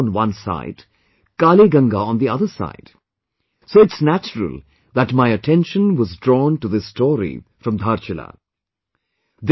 It has Nepal on one side, Kali Ganga on the other side so it's natural that my attention was drawn to this story from Dhaarchulaa